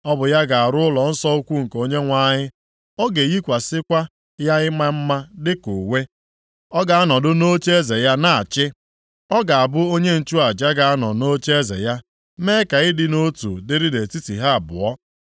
Ọ bụ ya ga-arụ ụlọnsọ ukwu nke Onyenwe anyị. A ga-eyikwasịkwa ya ịma mma dịka uwe, ọ ga-anọdụ nʼocheeze ya na-achị. Ọ ga-abụ onye nchụaja ga-anọ nʼocheeze ya, mee ka ịdị nʼotu dịrị nʼetiti ha abụọ.’